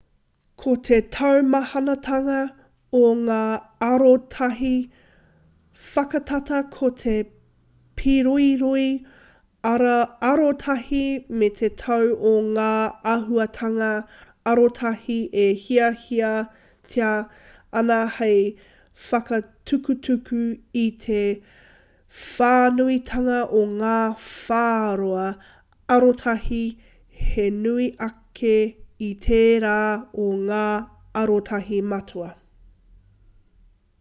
ko te taumahatanga o ngā arotahi whakatata ko te pīroiroi arotahi me te tau o ngā āhuatanga arotahi e hiahiatia ana hei whakatutuki i te whānuitanga o ngā whāroa arotahi he nui ake i tērā o ngā arotahi matua